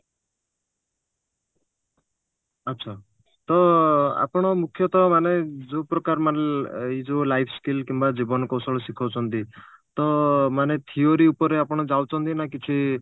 ଆଚ୍ଛା ତ ଆପଣ ମୁଖ୍ୟତଃ ମାନେ ଯଉ ପ୍ରକାର ମାନେ ଏ ଏଇ ଯଉ life skill କିମ୍ବା ଜୀବନ କୌଶଳ ଶିଖଉଛନ୍ତି ତ ମାନେ theory ଉପରେ ଆପଣ ଯାଉଛନ୍ତି ନା କିଛି